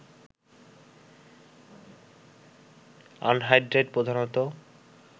anhydride প্রধানত